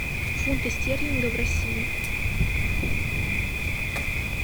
фунты стерлинга в россии